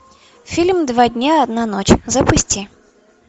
фильм два дня одна ночь запусти